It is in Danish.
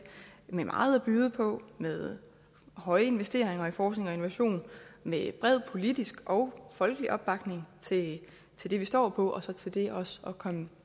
med meget at byde på med høje investeringer i forskning og innovation med bred politisk og folkelig opbakning til til det vi står på og så til det også at komme